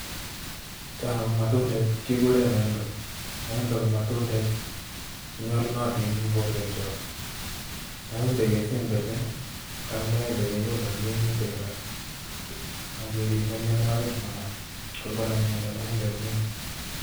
Cho ko matundek che kikure maembe, maembe ko matundek che nyalunotin eng borwekchok, maembe kesemberchin ii, ako maembe kekole ak minutik alak, akeribe mionwogik manam, ko ngonam miondo maembe ko mee.